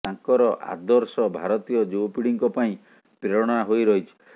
ତାଙ୍କର ଆଦର୍ଶ ଭାରତୀୟ ଯୁବପିଢ଼ିଙ୍କ ପାଇଁ ପ୍ରେରଣା ହୋଇ ରହିଛି